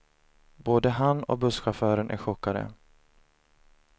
Både han och busschauffören är chockade.